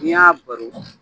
N'i y'a baro